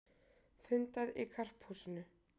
Fundað í Karphúsinu